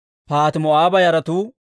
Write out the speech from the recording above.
Zattu yaratuu 845.